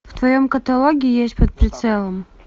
в твоем каталоге есть под прицелом